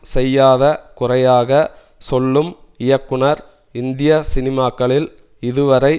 செய்யாத குறையாக சொல்லும் இயக்குனர் இந்திய சினிமாக்களில் இதுவரை